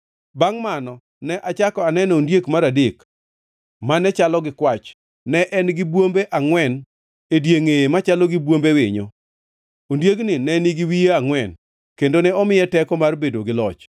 “Bangʼ mano, ne achako aneno ondiek mar adek mane chalo gi kwach. Ne en gi bwombe angʼwen e diengʼeye machalo gi bwombe winyo. Ondiegni ne nigi wiye angʼwen, kendo ne omiye teko mar bedo gi loch.